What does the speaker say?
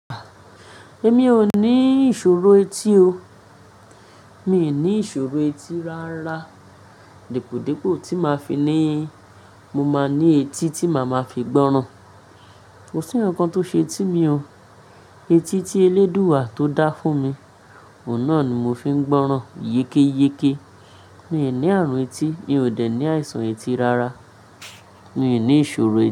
Èmi ò ní ìṣòro etí o. Mi ò ní ìṣòro etí rárá. Dípòdípò tí máa fi ní, mo máa ní etí tí màá máa fi gbọ́ràn. Kò sí ǹkan tó ṣe etí mi o. Etí tí eléèdúà tó dá fún mi, ọ̀nà ni mo fi ń gbọ́ràn yékéyéké. Mi ò ní ààrùn etí, mi ò dẹ̀ ní àìsàn etí rárá. Mi ò ní ìṣòro etí.